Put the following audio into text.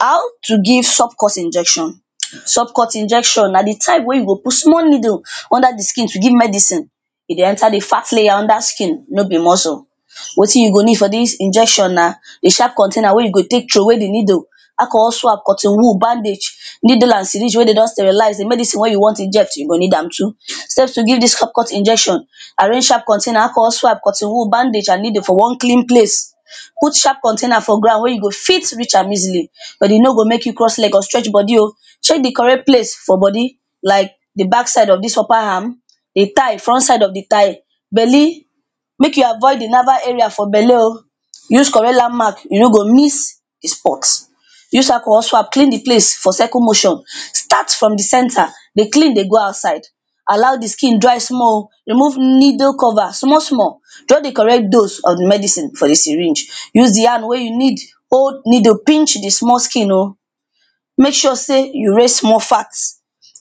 How to give subcut injection. Subcut injection na di type wey you go put small needle under di skin to give medicine. E dey enter di fat layer under skin no be muscle. Wetin you go need for dis injection na a sharp container wey you go take throw way di needle, alcohol swaps with cotton wool, bandage, needle and syringe wey de don sterilize, di medicine wen you wan inject you go need am too. Stage to give dis subcut injection; arrange sharp container, alcohol swaps, cotton wool, bandage and needle for one clean place put sharp container for ground wey you go fit reach am easily but e no go make you cross leg or stretch body o. Check di correct place for body like di back side of dis upper arm, di thigh, front side of di thigh, belly, make you avoid di navel area for belle o. Use correct landmark you no go miss di spots. Use alcohol swap clean di place for circle motion, start from di center dey clean dey go outside, allow di skin dry small o, remove needle cover small small, draw the correct dose of the medicine for di syringe, use di hand wey you need hold needle pinch di small skin o, make sure say you raise small fat,